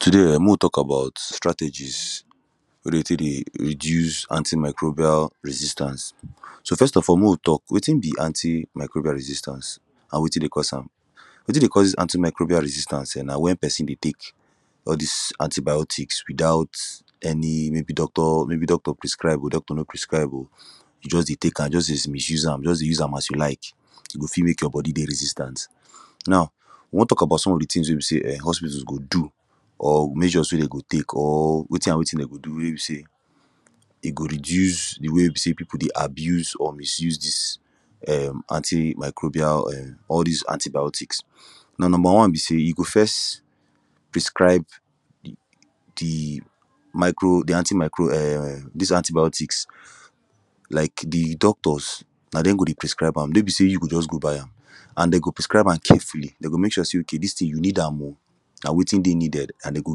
Today um mek we tok about strategies wey dey tek dey reduce anti microbial resistance so first of all mek we tok wetin be anti microbial resistance an wetin dey cause am wetin dey cause dis anti microbial resistance na wen person dey tek all dis anti biotics witout any maybe doctor maybe doctor prescribe oo maybe doctor no prescribe oo you just dey tek am just dey misuse am as you like e go fit mek your body dey resistant now we wan tok about some of de tins wey be say hospital go do or we mek sure say dem dey tek or wetin an wetin dem go do wey be say e go reduce de way wey be say people dey abuse or misuse dis um antimicrobial all dis antibiotics na number one be say you go first prescribe de micro de anti microbial um dis antibiotics like de doctors na dem go dey prescribe am no be say you go just go buy am and dem go prescribe am carefully dem go mek sure say okay dis tin you need am ok na wetin dey needed am dem go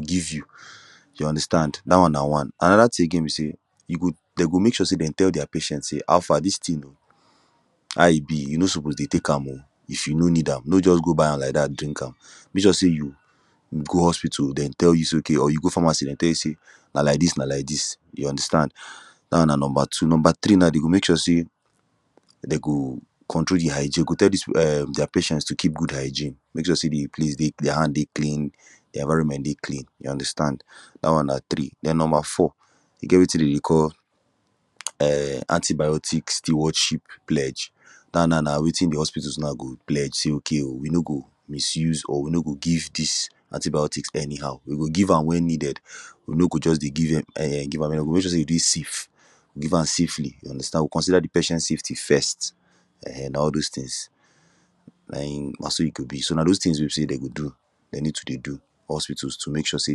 give you you understand dat one na one anoda tin again wey be say you go dem go mek sure say dem tell dia patients say how far dis tin o how e be you no suppose dey tek am oo if you no need am no just go buy am like dat dey drink am mek sure say you go hospital dem tell you say okay or you go pharmacy dem tell you say na like dis na like dis you understand dat one na number two number three naw go mek sure say dem go control de hygiene dem go tell dis people um dia patients to keep good hygiene make sure say de place dey dia hand dey clean environment dey clean you understand dat one na three then number four e get wetin dem dey call um antibiotics stewardship pledge that na wetin de hospital go pledge say okay oo we no go misuse or we no go give dis antibiotics any how we go give am wen needed we no go just dey give am nay how we go mek sure say e dey safe give am safely we consider de patient safety first um all those tins na him na so e go be so na this tins wey be say you go do dem need to dey do hospitals to mek sure say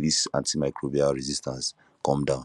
dis antimicrobial resistance come down